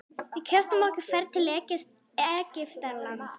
Við keyptum okkur ferð til Egyptalands.